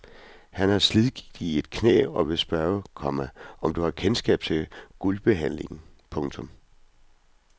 Han har slidgigt i et knæ og vil spørge, komma om du har kendskab til guldbehandlingen. punktum